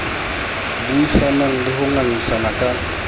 buisanang le ho ngangisana ka